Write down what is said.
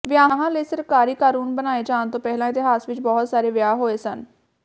ਵਿਆਹਾਂ ਲਈ ਸਰਕਾਰੀ ਕਾਨੂੰਨ ਬਣਾਏ ਜਾਣ ਤੋਂ ਪਹਿਲਾਂ ਇਤਿਹਾਸ ਵਿਚ ਬਹੁਤ ਸਾਰੇ ਵਿਆਹ ਹੋਏ ਸਨ